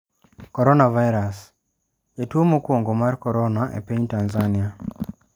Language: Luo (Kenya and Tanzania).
Coronavirus: Jatuo mokwongo mar corona e piny Tanzania